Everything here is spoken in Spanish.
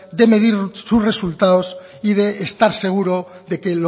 de medir su resultados y de estar seguro de que